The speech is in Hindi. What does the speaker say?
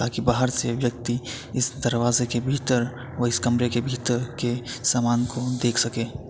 ताकि बाहर से व्यक्ति इस दरवाजे के भीतर और इस कमरे की भीतर के सामान को देख सके।